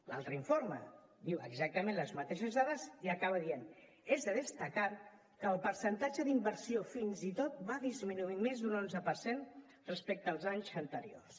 l’altre informe diu exactament les mateixes dades i acaba dient és de destacar que el percentatge d’inversió fins i tot va disminuir més d’un onze per cent respecte als anys anteriors